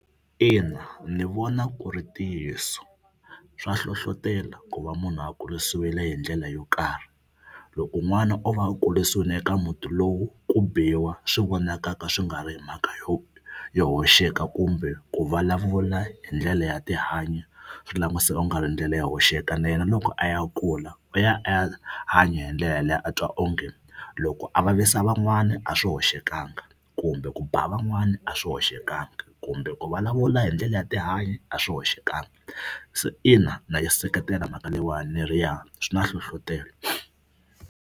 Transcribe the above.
Ina ni vona ku ri ntiyiso swa hlohlotelo ku va munhu a kurisiwile hi ndlela yo karhi. Loko n'wana o va a kurisiwile eka muti lowu ku biwa swi vonakaka swi nga ri hi mhaka yo yo hoxeka kumbe ku vulavula hi ndlela ya tihanyi swi languteka ku nga ri ndlela yo hoxeka na yena loko a ya kula u ya a ya hanya hi ndlela yaleyo a twa onge loko a vavisa van'wani a a swi hoxekangi kumbe ku ba van'wani a swi hoxekangi kumbe ku vulavula hi ndlela ya tihanyi a swi hoxekangi. Se ina na yi seketela mhaka leyiwani ni ri ya swi na nhlohlotelo.